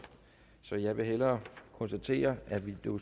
så jeg vil hellere konstatere at vi